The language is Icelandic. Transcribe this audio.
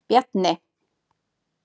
Bjarni